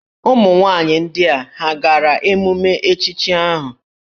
Ụmụnwaanyị ndị a hà gara emume echichi ahụ?